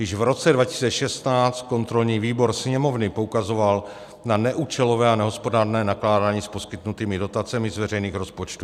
Již v roce 2016 kontrolní výbor Sněmovny poukazoval na neúčelové a nehospodárné nakládání s poskytnutými dotacemi z veřejných rozpočtů.